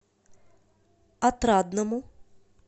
отрадному